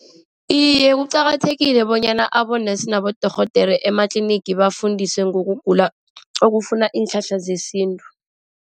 Iye, kuqakathekile bonyana abonesi nabodorhodere ematlinigi bafundiswe ngokugula okufuna iinhlahla zesintu.